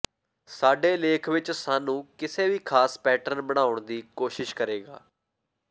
ਸਾਡੇ ਲੇਖ ਵਿਚ ਸਾਨੂੰ ਕਿਸੇ ਵੀ ਖਾਸ ਪੈਟਰਨ ਬਣਾਉਣ ਦੀ ਕੋਸ਼ਿਸ਼ ਕਰੇਗਾ